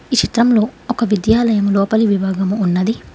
ఈ చిత్రంలో ఒక విద్యాలయం లోపలి విభాగము ఉన్నది.